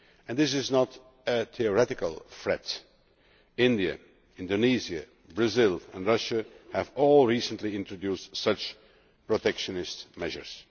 This is not a theoretical threat India, Indonesia, Brazil and Russia have all recently introduced such protectionist measures.